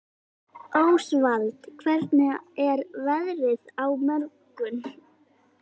Ósvald, hvernig er veðrið á morgun?